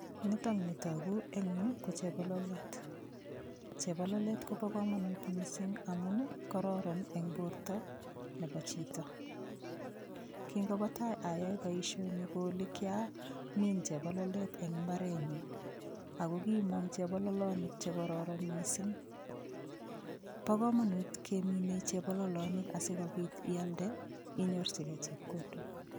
Nito ni toku eng' yu ko chebololet chebololet kobo komonut mising' amun kororon eng' borto nebo chito kingobo tai ayoe boishoni kooli kiamin chebololet eng' imbarenyu ako kimong' chebololonik chekororon mising' bo komonut keminei chebololonik asikobit ialde inyorchigei chepkondok